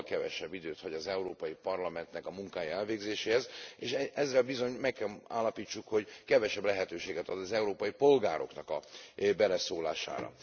Jóval kevesebb időt hagy az Európai Parlamentnek munkája elvégzésére, és ezzel bizony meg kell állapítsuk kevesebb lehetőséget ad az európai polgároknak a beleszólására.